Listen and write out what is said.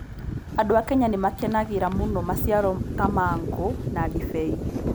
Andũ a Kenya nĩ makenagĩra mũno maciaro ta mango na ndibei.